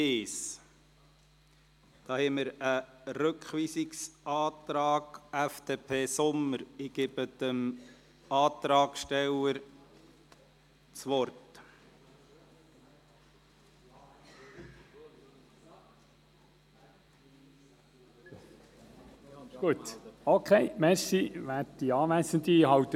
Sie haben dem ordentlichen Vorgehen zugestimmt und sich für zwei Lesungen ausgesprochen, und zwar mit 150 Ja- gegen 0 Nein-Stimmen bei 1 Enthaltung.